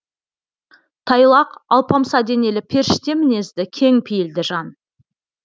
тайлақ алпамса денелі періште мінезді кең пейілді жан